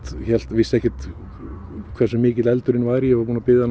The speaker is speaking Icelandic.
vissi ekki hversu mikill eldurinn væri ég var búinn að biðja hann